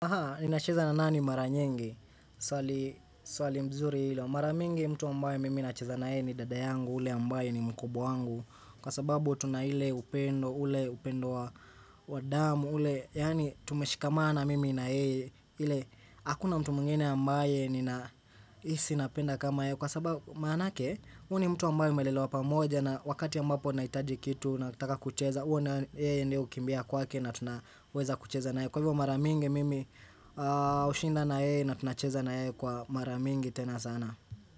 Aha, ninacheza na nani mara nyingi? Swali mzuri hilo. Maramingi mtu ambayo mimi nacheza na yeye ni dada yangu, ule ambaye ni mkubwa wangu. Kwa sababu tuna ile upendo, ule upendo wa damu, ule. Yani tumeshikamana mimi na yeye. Hakuna mtu mwingine ambaye ni nahisi napenda kama yeye. Kwa sababu maanake, huyu ni mtu ambayo mumelelewa pamoja na wakati ambapo naitaji kitu na takakucheza. Uwe na yeye ndio kukimbia kwake na tunaweza kucheza na hei. Kwa hivyo maramingi mimi ushinda na yeye na tunacheza na yeye kwa maramingi tena sana.